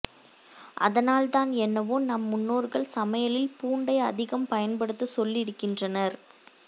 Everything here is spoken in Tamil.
அதனால்தான் என்னவோ நம் முன்னோர்கள் சமையலில் பூண்டை அதிகம் பயன்படுத்த சொல்லி இருகின்றனர்